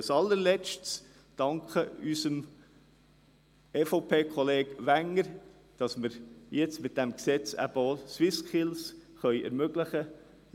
Ich möchte unserem EVP-Kollegen Wenger danken, dass wir jetzt mit diesem Gesetz die SwissSkills ermöglichen können.